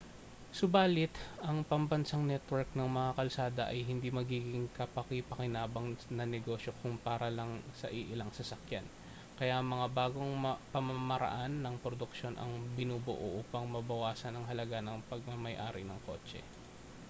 subali't ang pambansang network ng mga kalsada ay hindi magiging kapaki-pakinabang na negosyo kung para lang sa iilang sasakyan kaya mga bagong pamamaraan ng produksyon ang binubuo upang mabawasan ang halaga ng pagmamay-ari ng kotse